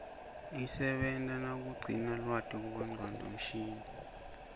isebenta nakugcina lwati kubongcondo mshini